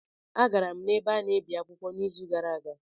Agara m n'ebe a na-ebi akwụkwọ n'izu gara aga